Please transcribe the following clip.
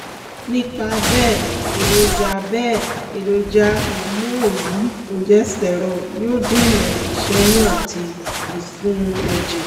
nípa bẹ́ẹ̀ èròjà bẹ́ẹ̀ èròjà hormone yìí progesterone yóò dènà ìṣẹ́yún àti ìsun ẹ̀jẹ̀